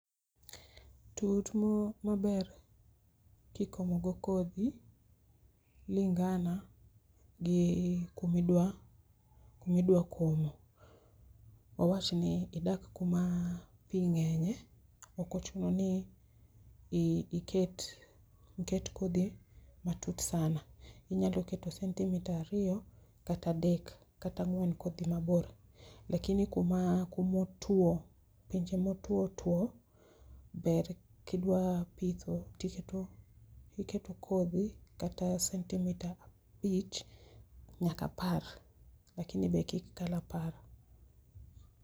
Tut maber kikomo go kodhi lingana gi kumidwa kumidwa komo .Wawachni idak kuma pii ng'enye ok ochuno ni nyaka iket iket kodho matut sana inya keto centimeter ariyo ,kata adek kata ang'wen kodhi mabor. Lakini kuma kumotwo pinje motwo two ber kidwa pitho tiketo tiketo kodhi kata centimeter abich nyaka apar lakini be kik kal apar.